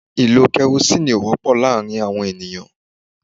Ìlò kerosinni ó wọ́pọ̀ láàárín àwọn ènìyàn.